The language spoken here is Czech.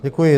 Děkuji.